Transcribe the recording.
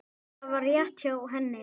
Það var rétt hjá henni.